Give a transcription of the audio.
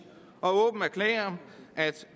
og åbent erklære at